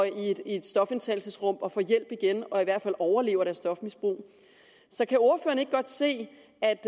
i et stofindtagelsesrum og får hjælp igen og i hvert fald overlever deres stofmisbrug så kan ordføreren ikke godt se